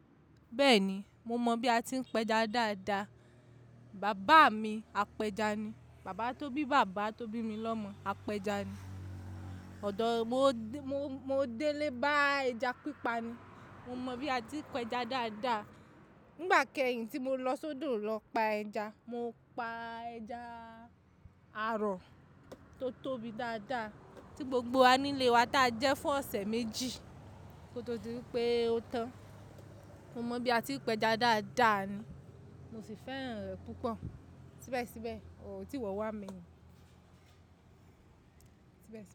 Bẹ́ẹ̀ni, mo mọ bí a ti ń pẹja dáadáa. Bàbá mi apẹja ni. Bàbá tó bí bàbá tó bí mi lọ́mọ apẹja ni. Mo dé lé bá ẹja pípa ni. Mo mọ bí a ti ń pẹja dáadáa. Nígbà kẹ́yìn tí mo lọ sódò lọ pa ẹja, mo pa ẹja àrọ tó tóbi dáadáa tí gbogbo wa nílé wa tá jẹ fún ọ̀sẹ̀ méjì kó tó di wipé ó tán. Mo mọ bí a ti ń pẹja dáadáa ni, mo sì fẹ́ràn rẹ̀ púpọ̀. Síbẹ̀síbẹ̀, ò ti wọ́n wá mi ni. Síbẹ̀